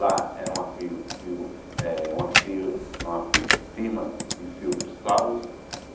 Lá era uma fir fiu eh uma fir uma firma de filtro salos.